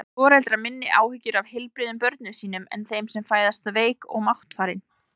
Hafa foreldrar minni áhyggjur af heilbrigðum börnum sínum en þeim sem fæðast veik og máttfarin?